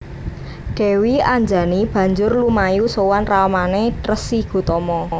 Dèwi Anjani banjur lumayu sowan ramané Resi Gotama